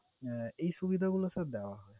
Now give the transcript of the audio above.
আহ এই সুবিধাগুলো sir দেওয়া হয়।